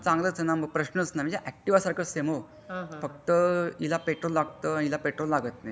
हा मग चांगलाच आहे मा प्रश्नच नाही म्हणजे ऍक्टिव्ह सारखंच समे हो फक्त तिला पेट्रोल लागत हिला पेट्रोल लागत नाही.